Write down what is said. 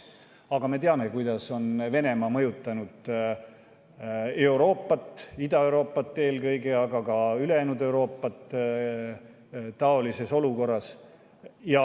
Aga me teame, kuidas on Venemaa mõjutanud Euroopat, Ida-Euroopat eelkõige, aga ka ülejäänud Euroopat taolises olukorras.